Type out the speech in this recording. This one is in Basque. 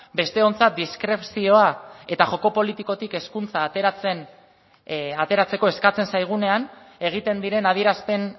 besteontzat diskrezioa eta joko politikotik hezkuntza ateratzeko eskatzen zaigunean egiten diren adierazpen